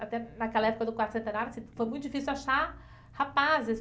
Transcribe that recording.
Até naquela época do quarto centenário, foi muito difícil achar rapazes.